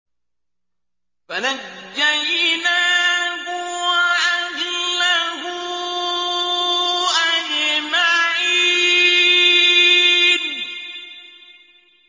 فَنَجَّيْنَاهُ وَأَهْلَهُ أَجْمَعِينَ